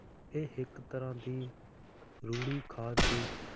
ਇਹ ਇੱਕ ਤਰ੍ਹਾਂ ਦੀ ਰੂੜੀ ਖਾਦ ਦੀ